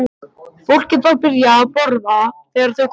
Fólkið var byrjað að borða þegar þeir komu inn.